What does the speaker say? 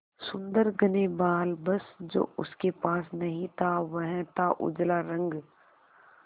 सुंदर घने बाल बस जो उसके पास नहीं था वह था उजला रंग